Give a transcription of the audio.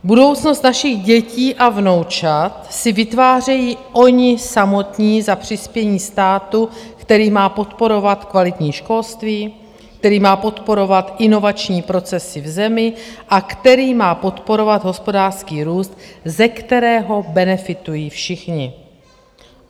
Budoucnost našich dětí a vnoučat si vytvářejí oni samotní za přispění státu, který má podporovat kvalitní školství, který má podporovat inovační procesy v zemi a který má podporovat hospodářský růst, ze kterého benefitují všichni.